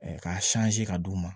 k'a ka d'u ma